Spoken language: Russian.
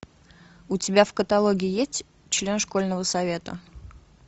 у тебя в каталоге есть член школьного совета